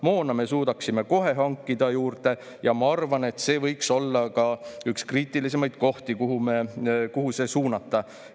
Moona me suudaksime kohe hankida juurde ja ma arvan, et see võiks olla ka üks kriitilisemaid kohti, kuhu see kohe suunata.